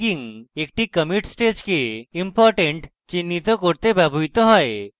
tagging একটি commit stage important চিহ্নিত করতে ব্যবহৃত হয়